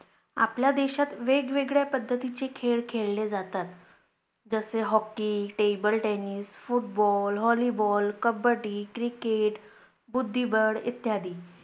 आपल्या देशात वेगवेगळ्या पद्धतीचे खेळ खेळले जातात. जसं Hockey, TableTennisFootball, Volleyball kabaddi, Cricket, बुद्धिबळ इत्यादी.